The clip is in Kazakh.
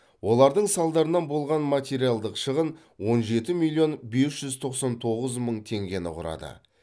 олардың салдарынан болған материалдық шығын он жеті миллион бес жүз тоқсан тоғыз мың тенгені құрады